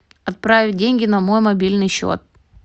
отправить деньги на мой мобильный счет